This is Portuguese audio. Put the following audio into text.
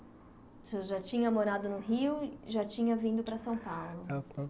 O senhor já tinha morado no Rio e já tinha vindo para São Paulo.